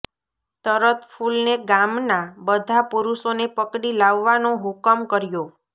તરત ફૂલને ગામના બધા પુરુષોને પકડી લાવવાનો હુકમ કર્યો